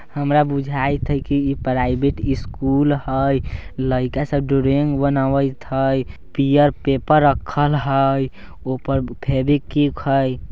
हमरा बुझाइत है कि ये प्राइवेट स्कूल है लाइका सब ड्राइंग बनावत है पीयर पेपर रखल है ऊपर फेवीक्विक है।